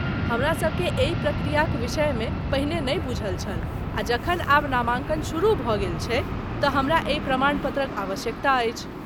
हमरासभकेँ एहि प्रक्रियाक विषय मे पहिने नहि बूझल छल आ जखन आब नामांकन शुरू भऽ गेल छै तऽ हमरा एहि प्रमाण पत्रक आवश्यकता अछि।